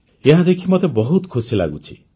ଏହାଦେଖି ମୋତେ ମଧ୍ୟ ବହୁତ ଖୁସି ଲାଗୁଛି